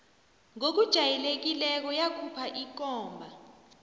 ngokujayelekileko yakhupha ikomba